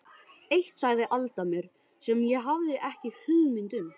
Eitt sagði Alda mér sem ég hafði ekki hugmynd um.